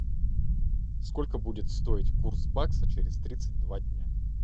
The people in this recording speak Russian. сколько будет стоить курс бакса через тридцать два дня